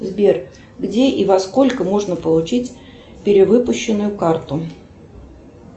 сбер где и во сколько можно получить перевыпущенную карту